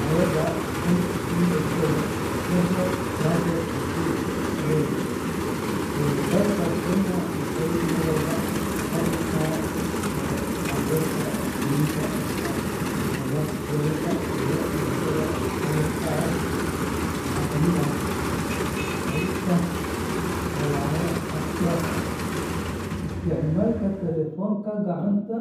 Hay’adda NTSA National Transport and Safety Authority ee dalka Kenya waxay mar walba ka digtaa khaladaadka waddooyinka ee sababa shilalka iyo dhimashada. Qaladaadkaas waxaa ka mid ah wadista xawaare xad-dhaaf ah, isticmaalka taleefanka gacanta